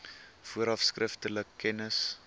vooraf skriftelik kennis